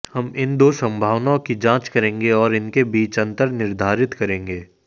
हम इन दो संभावनाओं की जांच करेंगे और उनके बीच अंतर निर्धारित करेंगे